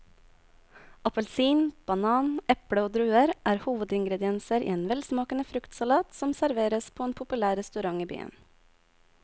Appelsin, banan, eple og druer er hovedingredienser i en velsmakende fruktsalat som serveres på en populær restaurant i byen.